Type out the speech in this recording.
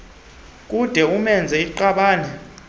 kade umenze iqanda